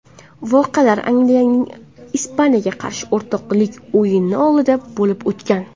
Voqealar Angliyaning Ispaniyaga qarshi o‘rtoqlik o‘yini oldidan bo‘lib o‘tgan.